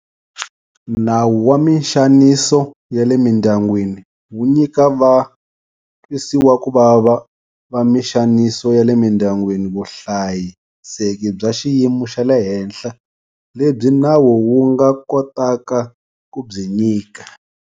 Nawu wa mixaniso ya le Mindyangwini wu nyika va twisiwakuvava va mixaniso ya le mindyangwini vuhlayiseki bya xiyimo xa le henhla lebyi nawu wu nga kotaka ku byi nyika.